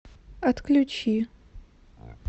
отключи